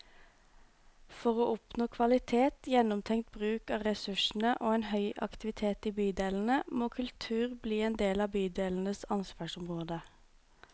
For å oppnå kvalitet, gjennomtenkt bruk av ressursene og en høy aktivitet i bydelene, må kultur bli en del av bydelenes ansvarsområde.